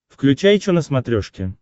включай че на смотрешке